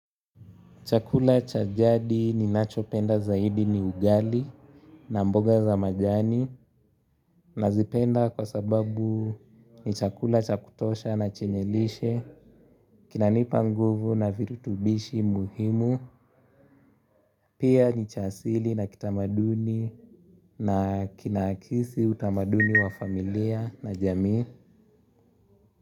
Chakula cha jadi ninachopenda zaidi ni ugali na mboga za majani nazipenda kwa sababu ni chakula cha kutosha na chenye lishe, kinanipa nguvu na virutubishi muhimu, pia ni cha asili na kitamaduni na kinaakisi utamaduni wa familia na jamii.